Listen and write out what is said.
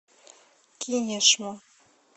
кинешму